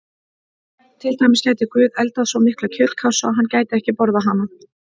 Til dæmis: Gæti Guð eldað svo mikla kjötkássu að hann gæti ekki borðað hana?